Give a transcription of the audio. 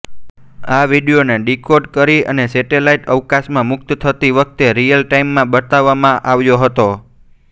આ વિડીયોને ડીકોડ કરી અને સેટેલાઈટ અવકાશમાં મુક્ત થતી વખતે રીયલ ટાઇમમાં બતાવવામાં આવ્યો હતો